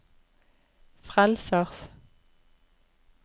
frelsers